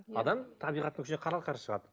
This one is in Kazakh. адам табиғаттың күшіне қарсы шығады